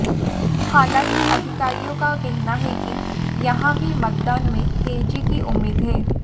हालांकि अधिकारियों का कहना है कि यहां भी मतदान में तेजी की उम्मीद है